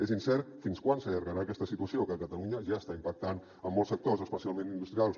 és incert fins quan s’allargarà aquesta situació que a catalunya ja està impactant en molts sectors especialment industrials